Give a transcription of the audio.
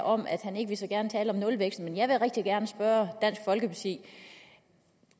om at han ikke så gerne vil tale om nulvækst men jeg vil rigtig gerne spørge dansk folkeparti